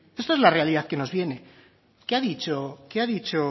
esta es la realidad que nos viene qué ha dicho qué ha dicho